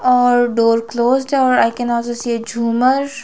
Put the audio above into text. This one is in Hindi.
अ डोअर क्लोज्ड है और I can also see a झुमर।